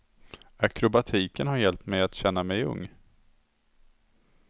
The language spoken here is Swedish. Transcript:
Akrobatiken har hjälpt mig att känna mig ung.